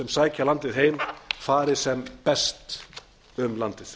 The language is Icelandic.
sækja landið heim fari sem best um landið